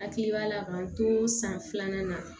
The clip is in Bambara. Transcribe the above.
Hakili b'a la k'an to san filanan na